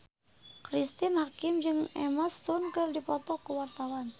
Cristine Hakim jeung Emma Stone keur dipoto ku wartawan